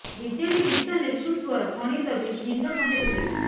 BJD ଶୀର୍ଷ ନେତୃତ୍ୱର ଗଣିତ ବି ଭିନ୍ନ ସଙ୍କେତ ଦେଉଛି